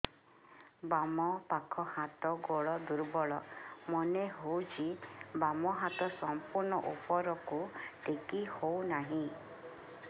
ବାମ ପାଖ ହାତ ଗୋଡ ଦୁର୍ବଳ ମନେ ହଉଛି ବାମ ହାତ ସମ୍ପୂର୍ଣ ଉପରକୁ ଟେକି ହଉ ନାହିଁ